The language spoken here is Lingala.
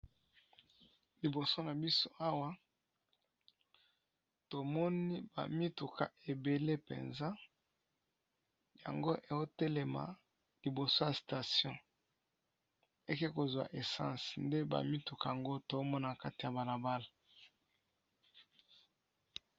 liboso na biso awa tomoni bamituka ebele mpenza yango eotelema liboso ya station eke kozwa essense nde bamituka yango tomona kati ya banabala